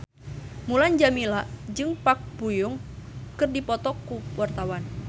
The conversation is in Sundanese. Mulan Jameela jeung Park Bo Yung keur dipoto ku wartawan